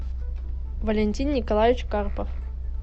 валентин николаевич карпов